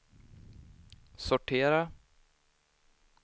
sortera